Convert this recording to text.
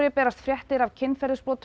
berast fréttir af kynferðisbrotum